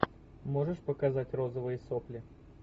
можешь показать розовые сопли